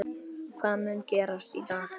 Hvað mun gerast í dag?